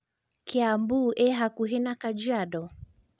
kiambu ĩhakũhĩ na kajiado